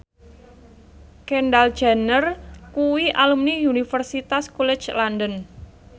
Kendall Jenner kuwi alumni Universitas College London